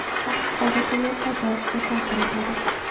Aks holda to‘lov qaytarishga ta’sir etadi.